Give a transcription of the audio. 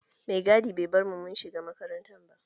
Mai gadi bai bar mu mun shiga makaranta ba